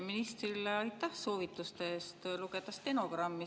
Ministrile aitäh soovituse eest lugeda stenogrammi.